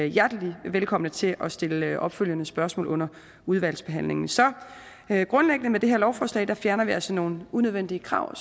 hjertelig velkomne til at stille opfølgende spørgsmål under udvalgsbehandlingen så med det her lovforslag fjerner vi altså grundlæggende nogle unødvendige krav